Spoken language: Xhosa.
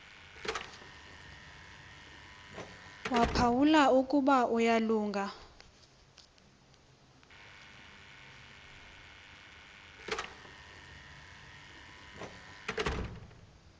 waphawula ukuba uyalunga